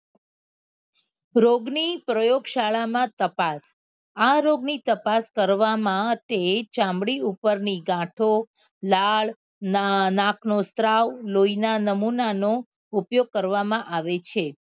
રોગ ની પ્રયોગ શાળા માં તાપસ આ રોગ માટે ની તપાસ કરવા માટે ચામડી ઉપર ની ગાંઠો લાળ ના નાક નો સ્ત્રાવ લોહી ના નમુના નો ઉપયોગ કરવા માં આવે છે.